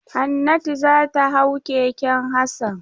Hannatu za ta hau keken Hassan.